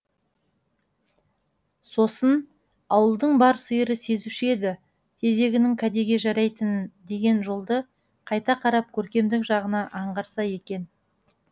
сосын ауылдың бар сиыры сезуші еді тезегінің кәдеге жарайтынын деген жолды қайта қарап көркемдік жағына аңғарса екен